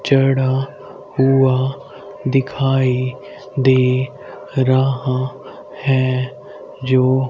चढ़ा हुआ दिखाई दे रहा है जो--